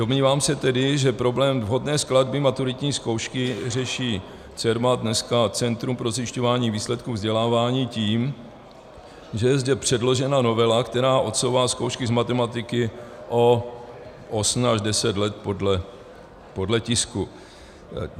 Domnívám se tedy, že problém vhodné skladby maturitní zkoušky řeší Cermat, dneska Centrum pro zjišťování výsledků vzdělávání, tím, že je zde předložena novela, která odsouvá zkoušky z matematiky o osm až deset let, podle tisku.